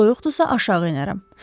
Soyuqdursa, aşağı enərəm.